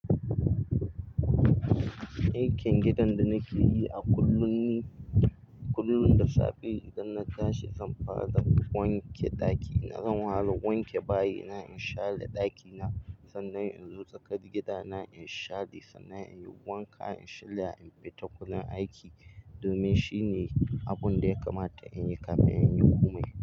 Aikin gidan da nake yi a kullum ne. Kullum da safe idan na tashi zan fara zan wanke ɗaki. Na zan wahala wanke bayi. Ina inshaɗa ɗakina sannan in zo tsakar gida na inshaɗi sannan in yi wanka in shaya in fita kunne aiki domin shine abun da ya kamata in yi kafin in yi komai.